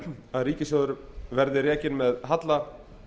að ríkissjóður verður rekinn með halla